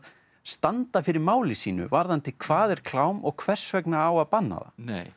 standa fyrir máli sínu varðandi hvað er klám og hvers vegna á að banna það